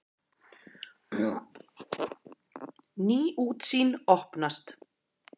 Ný útsýn opnast.